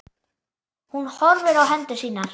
Hún horfir á hendur sínar.